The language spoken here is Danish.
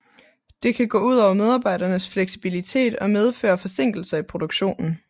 Det kan gå ud over medarbejdernes fleksibilitet og medføre forsinkelser i produktionen